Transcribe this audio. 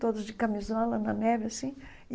Todos de camisola, na neve, assim.